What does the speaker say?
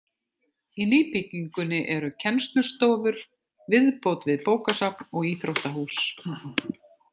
Í nýbyggingunni eru kennslustofur, viðbót við bókasafn og íþróttahús.